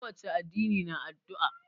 Ko wace addini na addu'a.